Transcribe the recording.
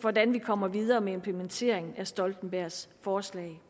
hvordan vi kommer videre med implementeringen af stoltenbergs forslag